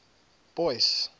boyce